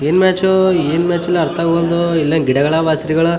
ಏನ್ ಮ್ಯಾಚು ಏನ್ ಮ್ಯಾಚು ಅಂತ ಅರ್ಥವಾಗುವಲ್ದು ಎಲ್ಲಾ ಗಿಡಗಳ ಬಸರಿಗಳ --